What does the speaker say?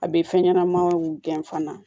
A bɛ fɛn ɲɛnamaw gɛn fana